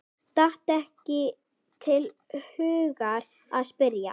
Datt ekki til hugar að spyrja.